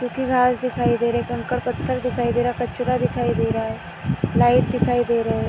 सुखी घास दिखाई दे रही हैं कंकर पथर दिखाई दे रहें हैं कचरा दिखाई दे रहा हैं लाइट दिखाई दे रहे हैं ।